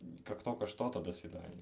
как только что-то до свидания